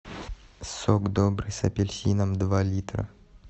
сок добрый с апельсином два литра